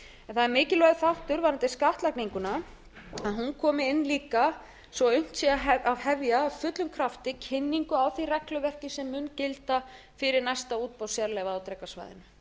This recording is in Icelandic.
það er mikilvægur þáttur varðandi skattlagninguna að hún komi inn líka svo unnt sé að hefja af fullum krafti kynningu á því regluverk sem mun gilda fyrir næsta útboð sérleyfa á drekasvæðinu